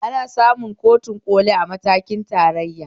Ana samun kotun ƙoli a matakin tarayyane